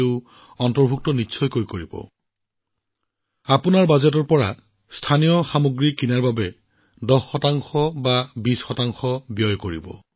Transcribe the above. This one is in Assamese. ১০ শতাংশ হওক ২০ শতাংশ হওক আপোনালোকৰ বাজেটে যিয়েই নহওক কিয় আপোনালোকে সেইটো স্থানীয় কামত খৰচ কৰিব